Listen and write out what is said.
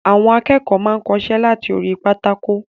Àwọn akẹ́kọ̀ọ́ máa n kọsẹ́ lati orí pátákó.